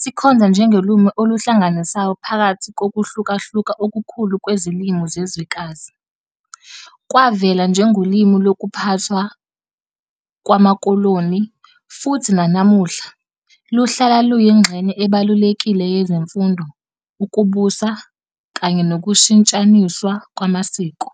sikhonza njengolimi oluhlanganisayo phakathi kokuhlukahluka okukhulu kwezilimi zezwekazi. Kwavela njengolimi lokuphathwa kwamakoloni, futhi nanamuhla, luhlala luyingxenye ebalulekile yezemfundo, ukubusa, kanye nokushintshaniswa kwamasiko.